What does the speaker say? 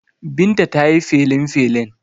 Binta ta yi felinfelin.